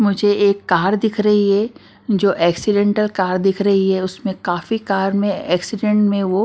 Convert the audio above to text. मुझे एक कार दिख रही है जो एक्सीडेंटल कार दिख रही है उसमें काफी कार में एक्सीडेंट में वो--